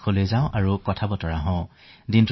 তেওঁলোকে আশ্বস্ত হলেহে ভাল পায়